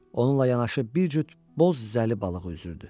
Onunla yanaşı bir cüt boz zəli balığı üzürdü.